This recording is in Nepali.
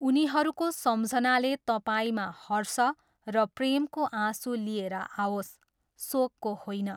उनीहरूको सम्झनाले तपाईँमा हर्ष र प्रेमको आँसु लिएर आओस्, शोकको होइन।